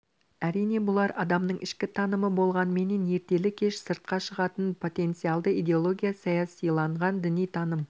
әрине бұлар адамның ішкі танымы болғанменен ертелі кеш сыртқа шығатын потенциялды идеология саясиланған діни таным